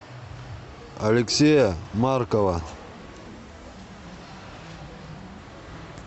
алексея маркова